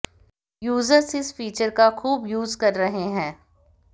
users इस feature का खूब यूज कर रहे हैं